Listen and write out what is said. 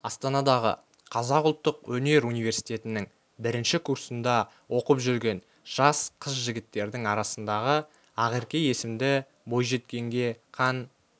астанадағы қазақ ұлттық өнер университетінің бірінші курсында оқып жүрген жас қыз-жігіттердің арасындағы ақерке есімді бойжеткенге қан